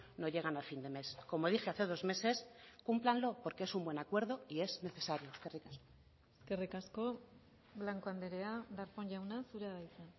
no llegan a fin de mes como dije hace dos meses cúmplanlo porque es un buen acuerdo y es necesario eskerrik asko eskerrik asko blanco andrea darpón jauna zurea da hitza